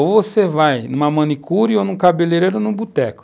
Ou você vai numa manicure, ou num cabeleireiro, ou num boteco.